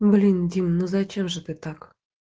блин дима ну зачем же ты так